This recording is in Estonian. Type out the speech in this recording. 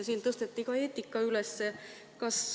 Siin tõsteti ka eetika üles.